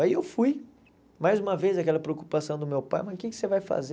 Aí eu fui, mais uma vez aquela preocupação do meu pai, mas o que você vai fazer?